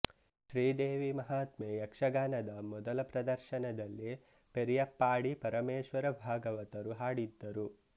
ಶ್ರೀ ದೇವಿ ಮಹಾತ್ಮೆ ಯಕ್ಷಗಾನದ ಮೊದಲ ಪ್ರದರ್ಶನದಲ್ಲಿ ಪೆರಿಯಪ್ಪಾಡಿ ಪರಮೇಶ್ವರ ಭಾಗವತರು ಹಾಡಿದ್ದರು